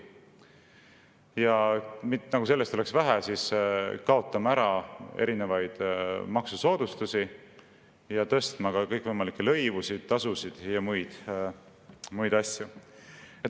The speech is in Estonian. Ja nagu sellest oleks vähe, kaotame ära erinevaid maksusoodustusi ja tõstame ka kõikvõimalikke lõivusid, tasusid ja muid asju.